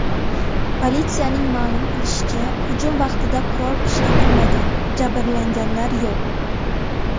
Politsiyaning ma’lum qilishicha, hujum vaqtida qurol ishlatilmagan, jabrlanganlar yo‘q.